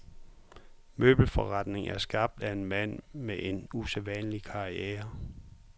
Møbelforretningen er skabt af en mand med en usædvanlig karriere.